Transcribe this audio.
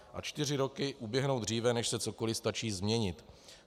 A čtyři roky uběhnou dříve, než se cokoli stačí změnit.